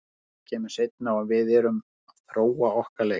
Það kemur seinna og við erum að þróa okkar leik.